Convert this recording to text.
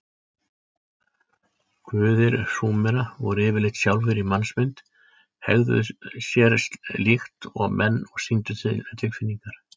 Guðir Súmera voru yfirleitt sjálfir í mannsmynd, hegðuðu sér líkt og menn og sýndu tilfinningar.